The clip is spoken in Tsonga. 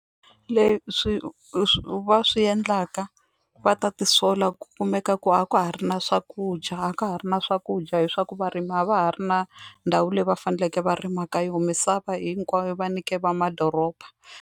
Leswi swi va swi endlaka va ta tisola ku kumeka ku a ka ha ri na swakudya a ka ha ri na swakudya hi swa ku varimi a va ha ri na ndhawu leyi va faneleke va rima ka yona misava hinkwayo va nyike va madoroba.